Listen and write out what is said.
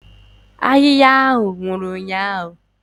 Ahịhịa ahụ nwụrụ ụnyahụ.